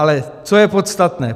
Ale co je podstatné.